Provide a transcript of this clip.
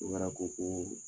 Obara ko koo